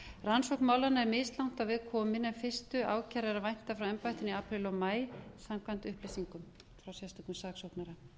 rannsókn málanna er mislangt á veg komin en fyrstu ákæru er að vænta frá embættinu í apríl og maí samkvæmt upplýsingum frá sérstökum saksóknara